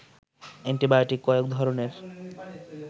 antibiotic কয়েক ধরণের